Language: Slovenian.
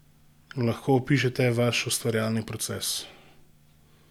Lahko opišete vaš ustvarjalni proces?